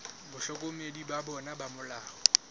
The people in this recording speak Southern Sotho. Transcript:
bahlokomedi ba bona ba molao